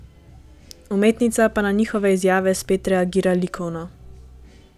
Umetnica pa na njihove izjave spet reagira likovno.